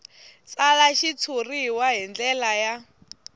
tsala xitshuriwa hi ndlela ya